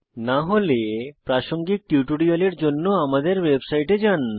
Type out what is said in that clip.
না হলে প্রাসঙ্গিক টিউটোরিয়ালের জন্য আমাদের ওয়েবসাইটে যান